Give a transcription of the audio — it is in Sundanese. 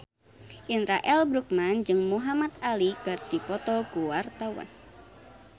Indra L. Bruggman jeung Muhamad Ali keur dipoto ku wartawan